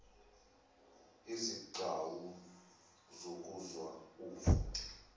izigcawu zokuzwa uvo